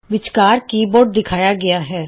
ਵਿੱਚਕਾਰ ਕੀ ਬੋਰਡ ਦਿਖਾਇਆ ਗਇਆ ਹੈ